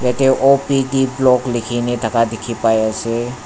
yatae O_P_D block likhina thaka dikhipai ase.